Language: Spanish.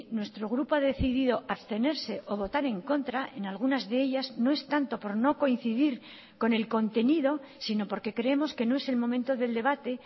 nuestro grupo ha decidido abstenerse o votar en contra en algunas de ellas no es tanto por no coincidir con el contenido sino porque creemos que no es el momento del debate